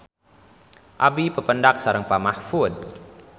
Abi papendak sareng Pak Mahfud